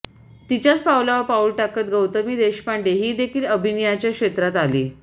तिच्याच पावलावर पाऊल टाकत गौतमी देशपांडे हीदेखील अभिनयाच्या क्षेत्रात आली